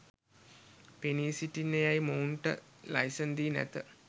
පෙනී සිටින්න යයි මොවුන්ට ලයිසන් දී නැත.